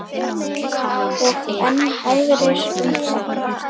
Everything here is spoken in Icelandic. Og enn aðrir um þá.